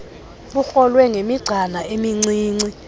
bukrolwe ngemigcana emincinci